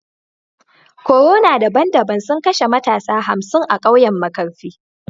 Corona daban-daban sun kashe matasa hamsin a kauyen markafi